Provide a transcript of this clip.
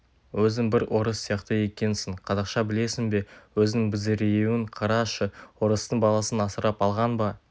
өзің бір орыс сияқты екенсің қазақша білесін бе өзің безіреюін қарашы орыстың баласын асырап алған ба